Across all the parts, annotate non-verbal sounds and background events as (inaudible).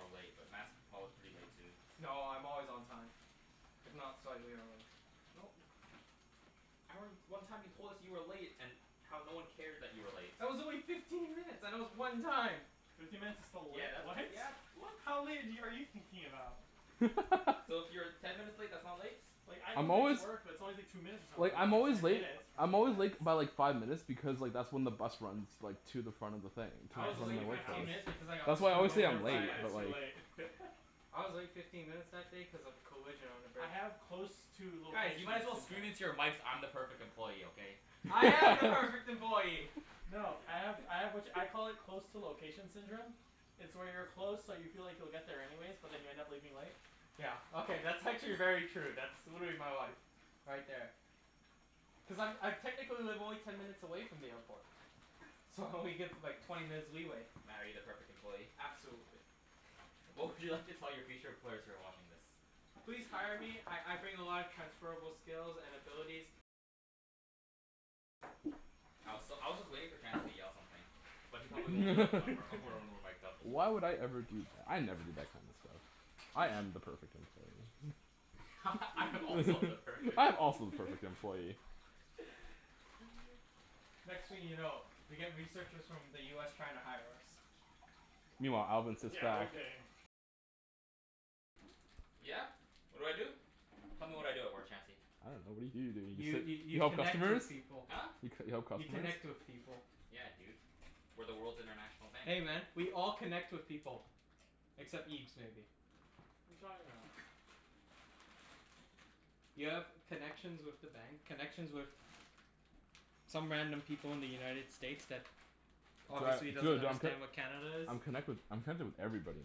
late, but Mat's prob- pretty late too. No, I'm always on time. If not slightly early. No. (noise) I re- one time you told us you were late and how no one cared that you were late. That was only fifteen minutes, and it was one time. Fifteen minutes is still late, Yeah, that's, right? yeah, that's, what? How late have y- are you thinking about? (laughs) So, if you're ten minutes late, that's not late? Like, I come I'm late to always work but it's always like two minutes or Like, something. Not I'm like always ten late minutes. I'm Fifteen always late k- minutes. by like five minutes because like, that's when the bus runs like to the front of the thing. I I was To the just late leave my my fifteen house minutes workplace. because I got That's why I screwed always say (laughs) I over I'm two just leave late, by my but minutes too like late. (noise) (laughs) I was late fifteen minutes that day cuz of a collision on the I bridge. have close to Guys, you location might as well scream into syndrome. your mics, "I'm the perfect employee!" Okay? I am Nice. the (laughs) perfect employee! No, I have I have which, I call it (laughs) close to location syndrome. It's where you're close, so you feel like you'll get there anyways, but then you end up leaving late. Yeah, okay, that's actually very true. That's, would be my life. Right there. Cuz I'm I technically live only ten minutes away from the airport. So, I only give like, twenty minutes leeway. Mat, are you the perfect employee? Absolutely. (laughs) What would you like to tell your future employers who are watching this? Please hire me. I I bring a lot of transferable skills and abilities. I was s- I was just waiting for Chancey to yell something. But he probably won't yell it when (laughs) we're (laughs) when (laughs) we're mic'd up. Why would I ever do that? I never do that kind of stuff. I am the perfect employee. (laughs) I am also the (laughs) perfect I'm also (laughs) the perfect (laughs) employee. (laughs) Next thing you know, we get researchers from the US trying to hire us. Meanwhile, Alvin sits back Yeah? What do I do? Tell me what I do at work, Chancey? I dunno. What do you do? Don't you You just sit y- You you help connect customers? with people. Huh? You c- you help You customers? connect with people. Yeah, dude. We're the world's international bank. Hey man, we all connect with people. Except Okay. Ibs, maybe. You talking about? You have connections with the bank, connections with some random people in the United States that obviously Tri- doesn't true, d- I'm c- understand what Canada is. I'm connected wi- I'm connected with everybody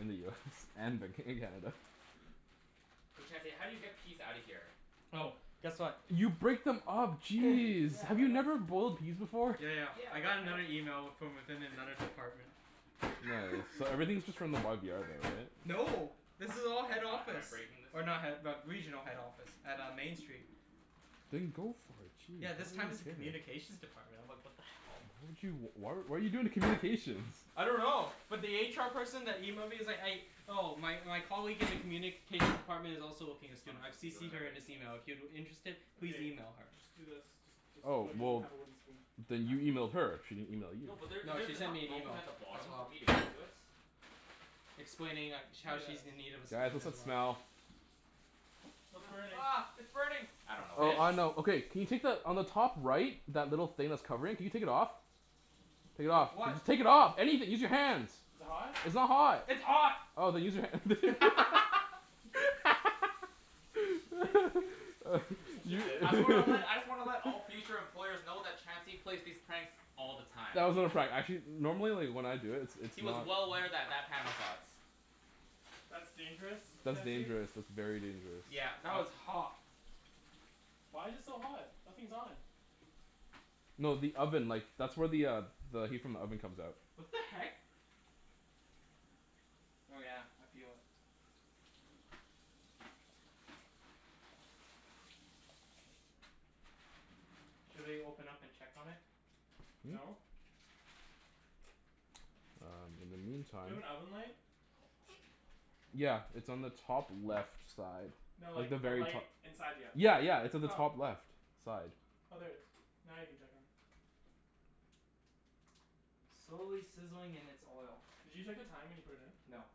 in the US and Vanco- in Canada. Hey Chancey, how do you get peas outta here? Oh, guess what? You break them up. (noise) (noise) Jeez! Yeah, Have but I you don't never boiled peas before? Yeah, yeah. Yeah, I but got I don't another email w- from within another department. Nice. (laughs) So everything's just from the YVR though, right? No. This is But all head am I am I office. breaking this? Or not head but regional head office. At uh, Main Street. Then go for it. Yeah, this Jeez. time it's a (inaudible) communications department. I'm like, what the hell? How did you, w- why what are you doing with communications? I don't know. But the HR person that emailed me is like, a- Oh, my my colleague in the communications department is Is also looking a this what I'm student. I've supposed to be doing CCed by her in this breaking it? email. If you're interested, please Okay. email her. Just do this. Just just oh, Oh, he doesn't well have a wooden spoon. then Huh? you emailed her? She didn't email you. No, but there No, she there's sent enough me an broken email. at the bottom As for well. me to get to it. Explaining like, sh- Do how she's this. in need of a Guys, student what's as that well. smell? What's burning? Ah, ah, it's burning! I The dunno what Oh, I fish? know. it is. Okay can you take the, on the top right that little thing that's covering? Can you take it off? Take it With off. what? Just take it off! Anything! Use your hands! Is Is it it hot? hot? It's not hot! It's hot! Oh, then use your hand. (laughs) (laughs) You're (laughs) such a You dick. I (laughs) just wanna let I just wanna let all future employers know that Chancey plays these pranks all the time. That was not a prank. Actually normally like, when I do it it's He was not well aware that that pan was hot. That's dangerous, That's Chancey. dangerous. That's very dangerous. Yeah, That was but hot. Why's it so hot? Nothing's on. No, the oven. Like, that's where the uh the heat from the oven comes out. What the heck? Oh yeah, I feel it. Should we open up and check on it? Hmm? No. Uh, in the Do you have an meantime oven light? Yeah, it's on the top left side. No, Like like the a very light to- inside the oven. Yeah, yeah. It's on the top Oh. left side. Oh, there it is. Now you can check on it. Slowly sizzling in its oil. Did you check the time when you put it in? No.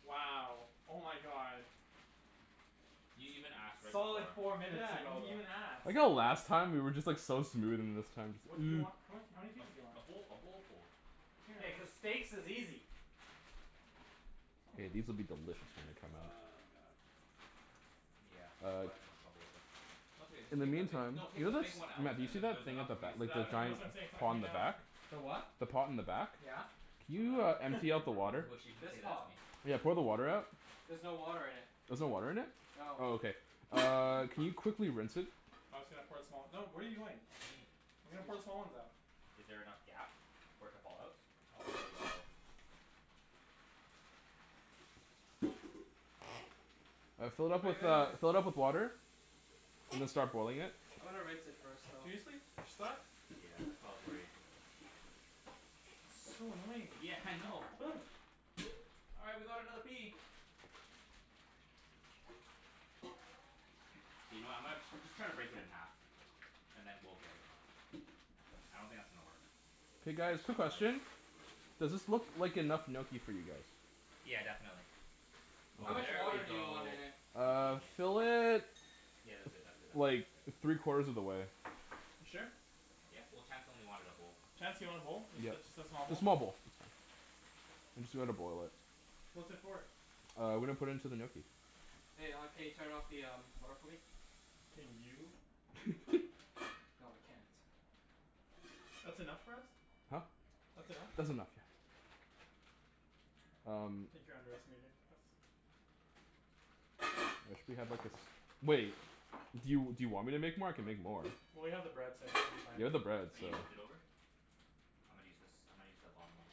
Wow! Oh my god. You even ask, right before. Solid four minutes Yeah, he ago, didn't though. even I like ask. how last time we were just like so smooth, and this time What do you want? (noise) What, how many A pieces do you a want? bowl a bowlful. Yeah, cuz (inaudible) steaks is easy. K, these will be delicious when they (laughs) come out. Oh my god. Yeah, this is Uh why I had so much trouble with this. No, it's okay. Just In the take the bi- meantime no, take you know the the big s- one out, Mat, do you and see then that there's thing enough at the for me to ba- Tha- te- scoop like out the of that's the giant what bottom. I'm saying. It's not pot on coming the out. back? (noise) The what? The pot in the back? Yeah. Can I'm you uh gonna empty out I'm the gonna (laughs) really water? wish you didn't This say that to pot? me. Yeah, pour the water out. There's no water in it. There's no water in it? No. Oh, okay. Uh, can you quickly rinse it? I was gonna pour some out. No, what are you doing? What do you mean? I was gonna put Excuse. the small ones out. Is there enough gap for it to fall out? Oh, there we go. Uh, fill it Wait, up with wait, uh, wait. fill it up with water. And then start boiling it. I'm gonna rinse it first, though. Seriously? They're stuck? Yeah, that's why I was worried (inaudible) So annoying. Yeah, I know. (noise) All right, we got another pea! You know, I'm gonna just try to break it in half. And then we'll get it out. I don't think that's gonna work. K Big guys, quick chunk of ice. question. Does this look like enough gnocchi for you guys? Yeah, definitely. How Oh, much there we water do you want go. in it? You Uh, genius. fill it Yeah, that's good, that's good, that's good, like, that's good. three quarters of the way. You sure? Yeah. Well, Chancey only wanted a bowl. Chancey wanted a bowl? Ju- ju- Yeah, just a small a bowl? small bowl. I'm just gonna boil it. What's it for? Uh, we're gonna put in to the gnocchi. Hey, uh, can you turn off the um water for me? Can you? (laughs) No, I can't. That's enough for us? Huh? That's enough? That's enough. I Um think you're underestimating us. I wish we had like, a s- Wait. Do you do you want me to make more? I can make more. Well, we have the bread so I think we'll be fine. You have the bread, Oh, so you moved it over? I'm gonna use this, I'm gonna use the bottom one.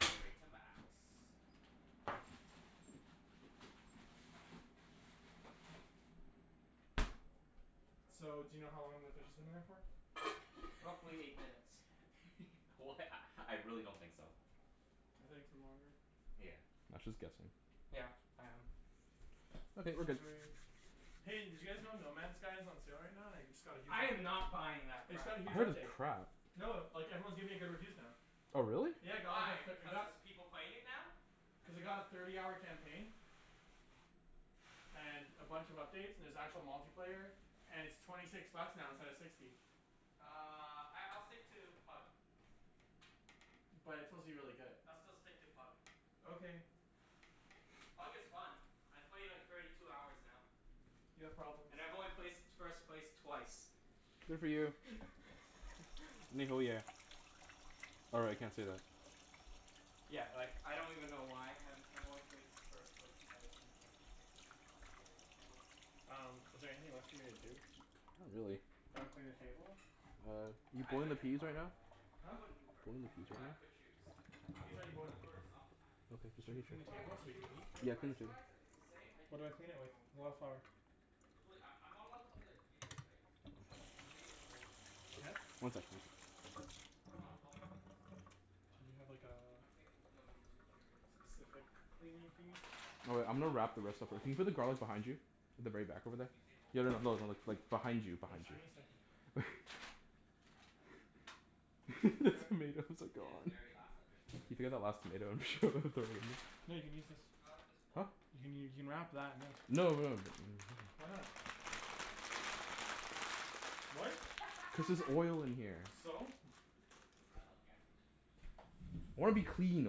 Straight to max. So, do you know how long the fish has been in there for? Roughly eight minutes. (laughs) Wh- a I really don't think so. I think it's been longer. Yeah. Mat's just guessing. Yeah, I am. Okay, It's we're not good. very Hey, did you guys know No Man Skies is on sale right now, and i- it just got a huge I am update? not buying that It's crap. got a I huge heard it's update. crap. No, like everyone's giving it good reviews now. Oh, really? W- Yeah, why? Because there's (inaudible) people playing it now? Cuz it got a thirty hour campaign and a bunch of updates, and there's actual multiplayer. And it's twenty six bucks now instead of sixty. Uh, I I'll stick to Pug. But it's supposed to be really good. I'll still stick to Pug. Okay. Pug is fun. I played like, thirty two hours now. You have problems. And I've only placed first place twice. (noise) Good for you. (laughs) (inaudible) Or, I can't say that. Yeah, like, I don't even know why. I've I've only placed first place twice and it's like, ridiculously hard to get any kills. Um, is there anything left for me to do? Not really. Can I clean the table? Uh, Yeah, you I'd boiling rent the a peas car right in now? LA, man. I Huh? wouldn't Uber. Boiling the If peas if right I could now? choose. I Pea's would already boiling. Uber sometimes. Okay, Should we clean the If I table could so we can (inaudible) choose, eat? for Yeah, finish it. price-wise, if it's the same? I'd What do I do clean it your with? own car. Wildflower. There's really, I'm I'm not allowed to play a video, right? No. But the video's all over YouTube Yeah? already. One sec, please. It's not copyright, is it? If it's on Do you YouTube? have like, a I think w- no YouTube, period. specific Oh, damn it. cleaning I wanted thingie? to watch Oh wait, the, I I'm gonna wanted to wrap the rest of thi- can rewatch you put the the race garlic today. behind you? The very back over there. Usain Bolt Yeah, no lost. no no, like, behind you In behind Just give you. me fact a he didn't second. even finish the race. (laughs) He cramped up. (laughs) The Re- tomatoes (laughs) are In his gone. very last official race. You (inaudible) last tomato and (noise) (laughs) throw it in there? Here, you can use this. I like this Huh? pole. You can you can wrap that in Public this No, transit. no (inaudible) Why not? Oh, public trust not public transit. Gas station sushi. What? (laughs) Cuz there's oil in here. So? (laughs) I love gas station sushi. I wanna be clean,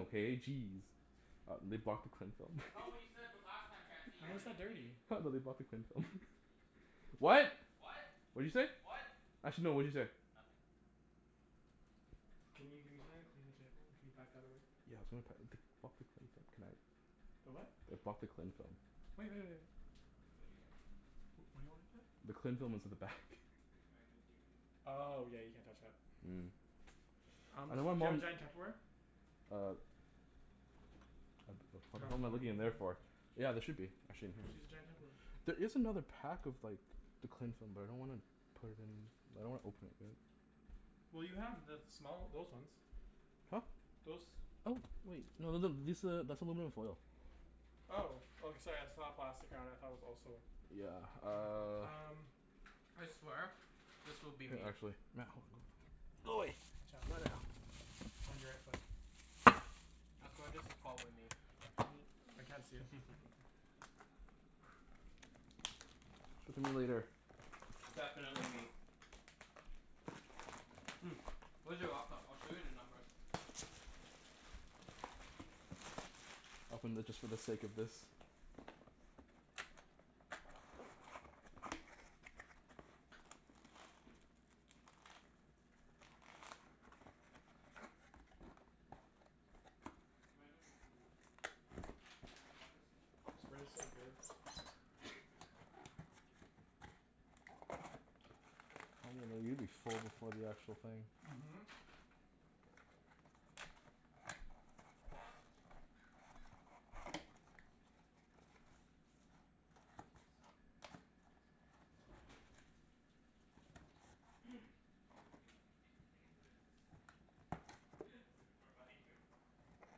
okay? Jeez. Uh, they blocked the cling film? That's not what you said b- (laughs) last time, Chancey. You How wanna is be that clean. dirty? Ha, no, they blocked the cling film. (laughs) Messy person. What? What? What'd you say? Actually no, what'd you say? Nothing. Can you give me something to clean the table. Can you pack that away? (inaudible) The what? They blocked the cling film. Wait, wait, wait. What'd you get? What do you want me to do? The cling What'd film you is get at from the back. (noise) cocoa? Mango green tea. Oh, yeah, you can't touch that. Mm. Um I do don't want you have mom giant Tupperware? Uh Ap- ab- what am I looking in there for? (inaudible) Yeah, there should be, actually in Just use a here. giant Tupperware. There (noise) is another pack of like the cling film, but I don't want to put it in. I don't wanna open it yet. Well, you have the small, those ones. (noise) Huh? Those. Oh, wait. No, th- th- this a, that's aluminum foil. Oh. Oh, sorry. I just saw the plastic around it and thought it was also Yeah, Hmm, hmm, uh um (noise) I swear this will be Here me. actually. Mat, hold on Go away. Watch out. Behind your right foot. I swear this is pot with me. (noise) I can't see it, so (laughs) Talk to me later. Definitely me. Mm, where's your laptop? I'll show you the numbers. It's right there. Open the, just for the sake of this. (noise) I'll take your wallet. Thank you very much. Might have improved. Cuz the numbers keep This frigging bread is so changing good. every day. (laughs) (noise) (inaudible) you'll be full before the actual thing. Mhm. (noise) Isn't this copyright? (noise) Oh, that's your password. There's no sound from it so I doubt it's copyright. (noise) (noise) Is there a video? Any e- can they get footage of this? (laughs) Is it (noise) gonna (inaudible) you? (laughs)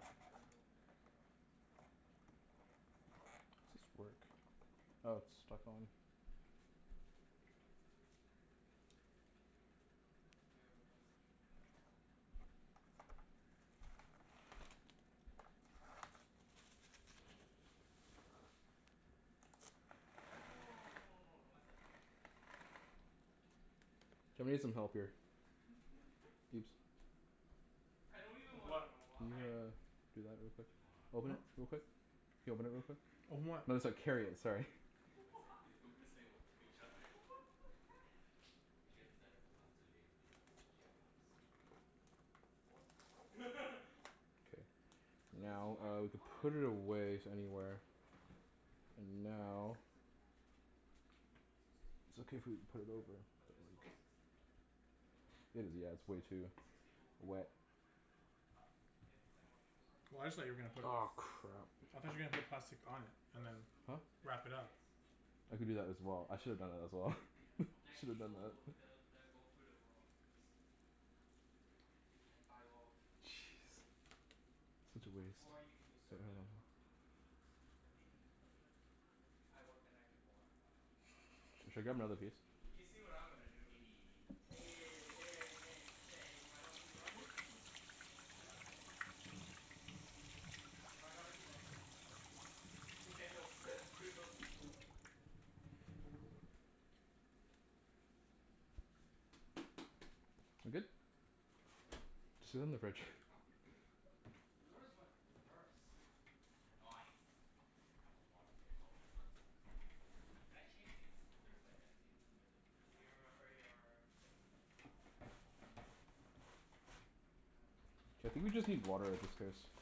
Internal affairs, bro. Does this work? Oh, it's stuck on. You have a message from Janelle. Yeah. You can click it. She cute? It's literally us just saying, "What?" to each other. Can you say, "What?" to her? (noise) No, no no no no no no no, don't mess it up, don't mess it up. Just say, "What?" Just say normal, "What?" K, thanks. Ja- I'm gonna need some help here. (laughs) Ibs? I don't even wanna What? know Can you why. uh, do that real It's quick? been going on for Open it Hmm? like, two real months. quick. Can you open it real quick? Open what? No, I so- don't even carry talk it, to her. sorry. (laughs) We Why? say (laughs) we say, (laughs) "What?" to each What other. (laughs) the heck? She hasn't said it for the last two days because she had finals. What? (laughs) K. So this is Now, my uh, flight. we can Ah, it put it improved a little. away s- anywhere. Zero? And Minus now six in the back. Oh. So six people b- It's okay if we overbooked? put it Yep. over (inaudible) But there's twelve seats at the front. Available? It is, Yep. yeah, it's way So, too six people will get wet. bumped. Up, ah Up. If everyone shows up. Well, I just thought you were gonna put Nice. Aw, it crap. How I did thought they you were gonna determine put that? plastic on it and First, then who puts Huh? bid wrap it up. upgrades. I could do Okay, that as so well. yeah I Those should have done obv- that people. as well. So, (laughs) yeah, that's probably (laughs) Next Should have done people that. w- they'll they'll go through the loyalty list. Mm, so not me. And by loyalty. Jeez. Such a waste. Or you can usurp them and talk to the (inaudible) gate agents. Eh, you'll be like, "Any any upgrades" I work the night (inaudible) before I fly out. Should I grab another piece? (laughs) You'll be You see like, what I'm "Eh" gonna do. Eh Eh, Eh, any eh, eh, chance, eh, any you mind helping chance? me out here? (laughs) Nah, if I got a seat I'd give it to my dad. If I got a seat I'd give it to myself cuz fuck these free. (laughs) Yeah, well, screw those people. (laughs) Za- good? There's sixty six Just sit it available in for the me? fridge. The fuck? Yours went reverse. No ice. I'm gonna have a lot of space. I hope there's no one sitting beside me. Can I change seats if there's like empty, if th- if there's Do empty you remember your thing? Yeah, it's on my Gmail. Uh, here, right? I think Just we yeah, just just search need Air water at this Canada. case.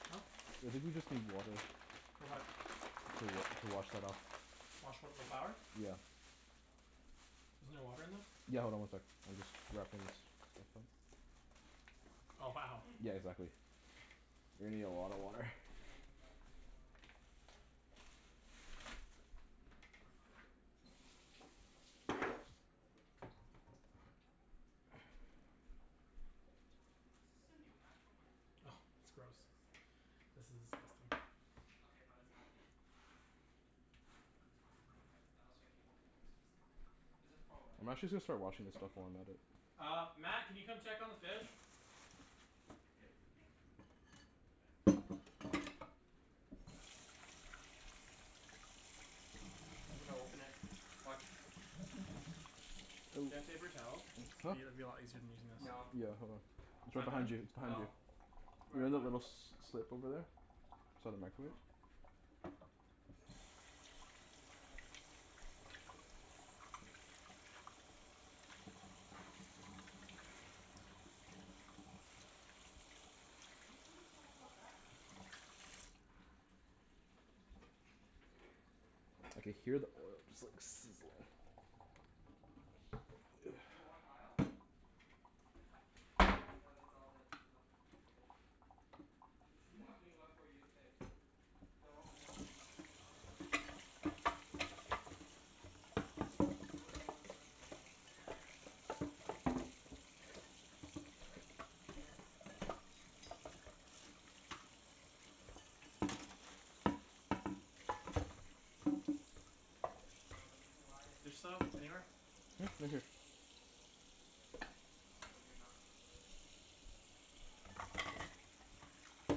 Huh? I think we just need water. For what? Ah s- I To think it w- should be the to wash second that one. off. Wash what? The Yeah. Why do flour? you have Yeah. two? Cuz I bought my dad's. Oh, Isn't there you bought water 'em in this? separately? Yeah, hold Yeah. on one sec. I'm just wrapping this. Just make sure this is (inaudible) you. Oh, Yeah, I changed my wow. name. Yeah, (noise) I changed exactly. my name to my middle name. You're gonna need a lot of water. I can't even find your name on it. It was there. You scrolled right past it. Oh, okay. Is this the new MacBook, or the old one? Oh, it's It's the gross. second newest. This is disgusting. Okay, but it's not the (laughs) It's not the USBC one. Yeah, I was thinking is it a USBC one. Is a Pro, right? I'm actually just Yeah. gonna start washing this Thirteen stuff while inch? I'm at it. Yeah. Uh, Mat, can you come check on the fish? (laughs) Yeah, see you later. Yep. Okay. I'm gonna open it. Watch. Do you have Ooh. paper towel? Huh? Be, it'd be a lot easier than using this. No. Yeah, hold on. It's It's right not behind you. done? It's behind you. No. Right in the little (inaudible) s- slip over there. Beside the microwave. Oh. (laughs) Do you mind if I just unplug this Yeah, sure. for a bit? Okay. Just charging my charger. My brother stole my actual charger. Why are you sitting so far back? I dunno, dude. I just picked it. I can hear the oil just like sizzling. Sh- (noise) you want aisle? I don't mind. No, that's all that's left to pick. There's nothing left for you to pick. They're all middle seats. No no, but like, if there's a s- if there's like a whole row open in the back, can I just take it? You wouldn't know until the day of. Yeah, I I know, I know, I know. I'm just saying like if it's completely empty? You could. Keep scrolling down. No, that's Oh, it. wait, that's it? Oh wait, it's pretty booked over, it's pretty booked, then. Hey, they said there's sixty six seats available? No, the reason why it's There's sixty soap six, the anywhere? front f- six Hmm? or Right here. seven rows is blocked off for preferred. So, you're Oh. not preferred. But those seats aren't free?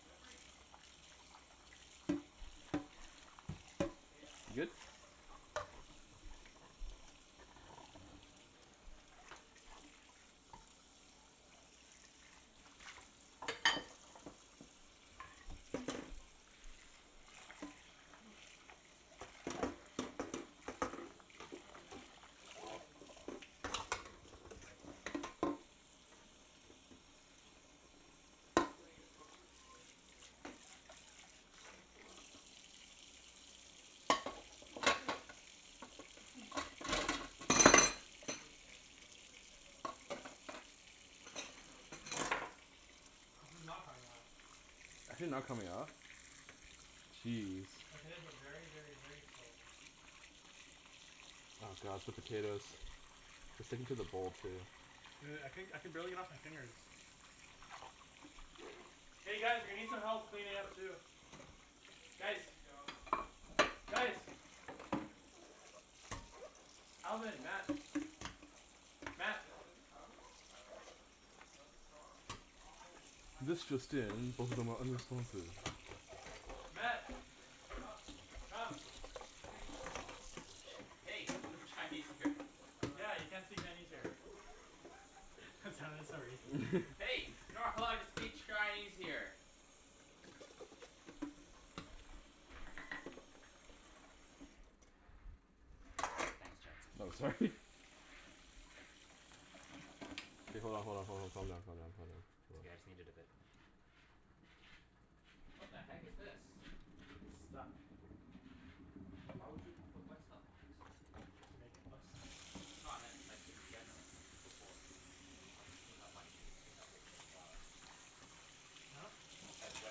They're free. Can I move up if there's no one sitting Yes, you there? can. (laughs) All right. The day of. But You your good? return flight's pretty Oh wait, no, that's my return flight. Uh, your return flight I think I'm leaving, can we can you double check if I'm leaving on the sixth? Pretty sure I'm leaving on the sixth. Yeah. Okay. (noise) Your return flight's (noise) not bad. But considering we're two, still like a whole month away almost? Yeah, but people usually buy, actually, nah. Considering this is two weeks away and this is a month away, that's a lot worse. Damn, I can't wait to move up with my dad. Be like "Yeah, wanna go (laughs) up?" (noise) And then there's me and Chancey's flight. It's like the hell is going on? For your return flight? No, the way there. Like, This what is not the f- coming off. Is Overbooked it not aff. coming off? Jeez. Like, it is, but very, very, very slowly. All right, let's see. Oh god, the potatoes. They're sticking Time to to the bowl, stalk too. everyone who's used my You know what? I codes. couldn- I could barely get it off my fingers. Y- oh, you can do that? Yeah. (laughs) Hey guys, we need some help cleaning up, too. That's Ah Guys! Chancey's job. That's Chancey Guys! Yeah, yeah. Who flew to Calgary? Alvin. For Mat. chasing summers? Wait, Mat! the- there's a Calgary one? YYZ is Calgary, isn't it? No, that's Toronto. Oh, This just in. YYC, not (inaudible) YYZ. Mat! Sup? Come! (inaudible) (inaudible) Hey! No Chinese here. Oh, right. Yeah, you can't say Chinese here. Sorry. That sounded so racist. Hey! You're not allowed to speak Chinese here! Thanks, No, Chancey. sorry. K, hold on, hold on, hold on, calm down, calm down, calm down. It's okay, I just need it a bit. What the heck is this? It's stuck. Why would you put wet stuff on it? To make it less stuck. No, I meant like, in general. Like, before. Like, when you just clean up, why didn't you just clean up with n- flour? Huh? Like, when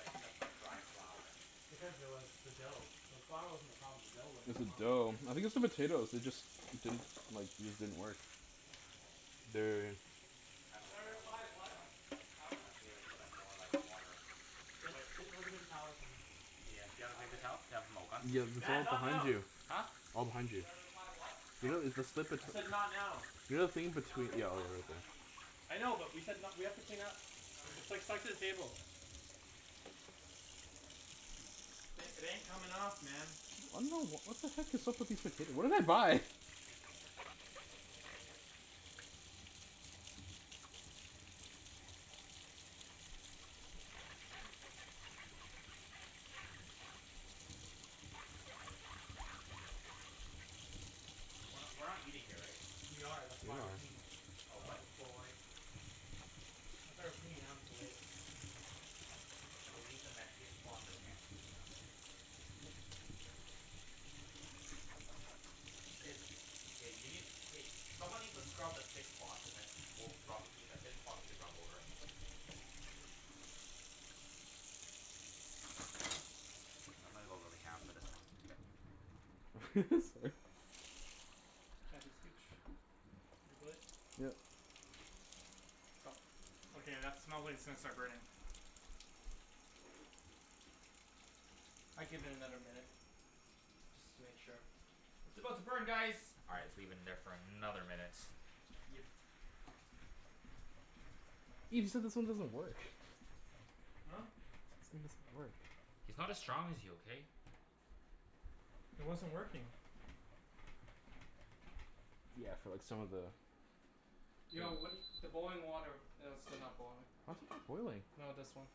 it's just like dry flour. Because there was the dough. The flour wasn't the problem. The dough wouldn't It's come the off. dough. I think it's the potatoes. They just didn't, like, these didn't work. Okay, well. They're already in. This kinda Should I looks like a one reply, person "What?" job. Alvin? Unless we like, put like, more like, water Get Wait get like a paper towel or something. Yeah, do you have a paper Alvin? towel? Yeah, (inaudible) the Mat, towel's not behind now! you. Huh? All behind Should you. I reply, "What?" You know, Oh. it's the slip it I said not now. You know the thing in No, I between, yeah, said you're Alvin, right not there. Ibs. I know, but we said n- we have to clean up. Okay. It's like set the table. Uh Th- it ain't coming off, man. I don't know. What the heck is up with these potato? What did I buy? We're not Shee- we're not eating here, right? We are. That's Yeah, you why we're are. cleaning. Oh, what? Oh boy. That's why we're cleaning now instead of later. Can we leave the messiest spot for Chancey? No, I'm kidding. It's K, you need, k someone needs to scrub the thick spots and then we'll can rub, we, the thin spots we can rub over. K, I'm gonna go really (inaudible) for this one. (laughs) Sorry. Chancey, scooch your butt. Yeah. No. Okay, that smells like it's gonna start burning. I'd give it another minute. Just to make sure. It's about to burn guys! All right, let's leave it in there for another minute. Yep. Ibs, you said this one doesn't work. Huh? Said this thing doesn't work. He's not as strong as you, okay? It wasn't working. Yeah, for like, some of the Yo, what do (inaudible) y- the boiling water it is still not boiling. What? Boiling. No, this one.